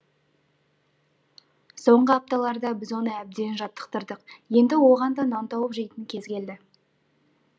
соңғы апталарда біз оны әбден жаттықтырдық енді оған да нан тауып жейтін кез келді